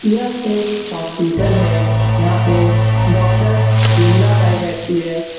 यह एक हॉस्पिटल है यहाँ पे डॉक्टर विमला साई बैठती है ।